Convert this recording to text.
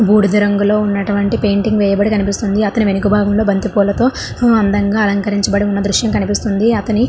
బూడిద రంగుల ఉన్నటువంటి పెయింటింగ్ కనబడుతుంది వెనుక భాగంలో బంతిపూల తో అందంగా అలంకరించబడిన దృశ్యం కనిపిస్తుంది.